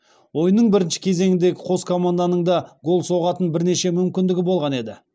ойынның бірінші кезеңіндегі қос команданың да гол соғатын бірнеше мүмкіндігі болған еді